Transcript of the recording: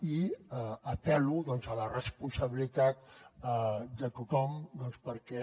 i apel·lo doncs a la responsabilitat de tothom perquè